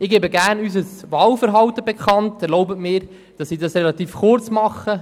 Ich gebe gerne unser Wahlverhalten bekannt und erlaube mir, dies relativ kurz zu machen.